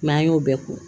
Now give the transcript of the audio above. an y'o bɛɛ ko